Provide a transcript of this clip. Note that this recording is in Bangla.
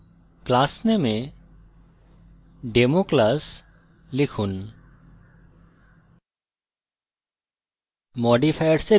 class name এ democlass লিখুন